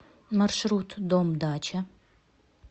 маршрут дом дача